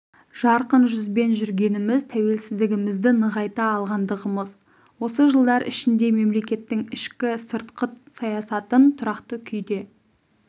жарқын жүзбен жүргеніміз тәуелсіздігімізді нығайта алғандығымыз осы жылдар ішінде мемлекеттің ішкі сыртқыт саясатын тұрақты күйде